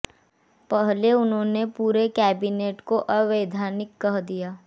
पहले उन्होंने पूरी राज्य कैबिनेट को अवैधानिक कह दिया